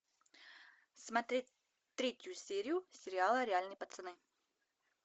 смотреть третью серию сериала реальные пацаны